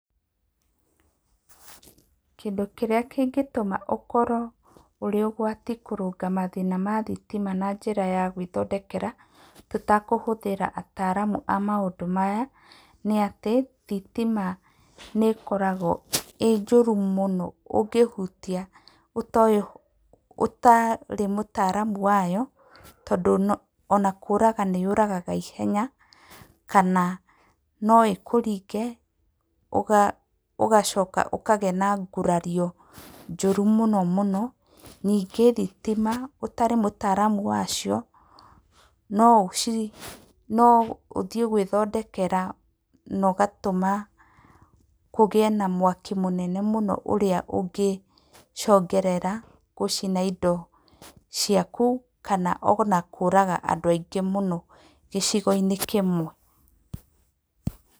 Kĩndũ kĩrĩa kĩngĩtũma ũkorwo ũrĩ ũgwati kũrũnga mathĩna ma thitima na njĩra ya gwĩthondekera tũtekũhũthĩra ataramu a maũndũ maya, nĩ atĩ, thitima nĩkoragwo ĩ njũru mũno, ũngĩhutia ũtoĩ ũtarĩ mũtaramu wayo, tondũ no ona kũraga nĩ yũragaga ihenya, kana no ĩkũringe ũga ũgacoka ũkagĩa na ngurario njoru mũno mũno, ningĩ thitima ũtarĩ mũtaramu wacio, no ũci, no ũthiĩ gwĩthondekera nogatũma kũgĩe na mwaki mũnene mũno ũrĩa ũngĩcongerera gũcina indo ciaku, kana ona kũraga andũ aingĩ mũno gĩcigo-inĩ kĩmwe.